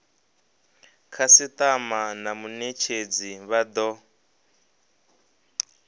khasitama na munetshedzi vha do